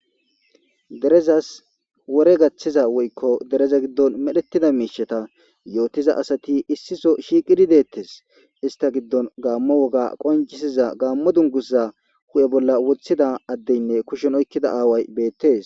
Derezas wore gaththiza woykko dereza giddon medhetida miisheta yootiza asati issiso shiiqidi deettes ista giddon gaammo woga qonjisiza gaammo dungusza hu'e bolla wothida addeynne kushen oykkida aaway beettes.